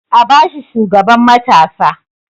A ba shi shugaban matasa!